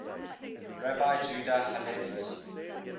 rabbi judah halevi's